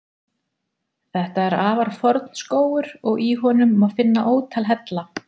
Þetta er afar forn skógur og í honum má finna ótal hella.